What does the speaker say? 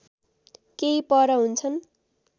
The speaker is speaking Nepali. केही पर हुन्छन्